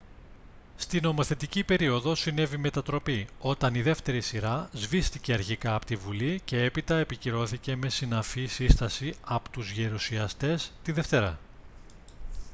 στη νομοθετική περίοδο συνέβη μετατροπή όταν η δεύτερη σειρά σβήστηκε αρχικά από τη bουλή και έπειτα επικυρώθηκε με συναφή σύσταση από τους γερουσιαστές τη δευτέρα